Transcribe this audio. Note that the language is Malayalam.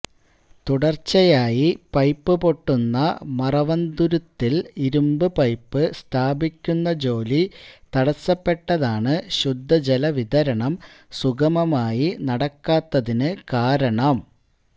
തുടര്ച്ചയായി പൈപ്പ് പൊട്ടുന്ന മറവന്തുരുത്തില് ഇരുമ്പ് പൈപ്പ് സ്ഥാപിക്കുന്ന ജോലി തടസപ്പെട്ടതാണ് ശുദ്ധജല വിതരണം സുഗമമായി നടക്കാത്തതിന് കാരണം